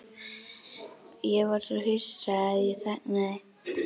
Ég var svo hissa að ég þagnaði.